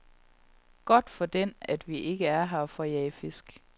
Godt for den, at vi ikke er her for at jage fisk.